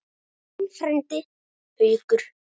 Þinn frændi, Haukur.